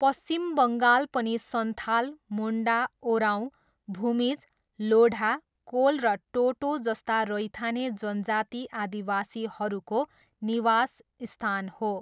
पश्चिम बङ्गाल पनि सन्थाल, मुन्डा, ओराव, भूमिज, लोढा, कोल र टोटो जस्ता रैथाने जनजाति आदिवासीहरूको निवासस्थान हो।